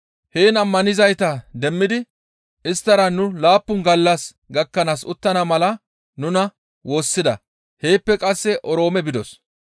Heen ammanizayta demmidi isttara nu laappun gallas gakkanaas uttana mala nuna woossida; heeppe qasse Oroome bidos.